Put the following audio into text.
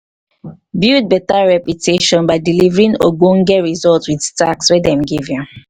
build better reputation by delivering ogbonge result with task wey dem give um you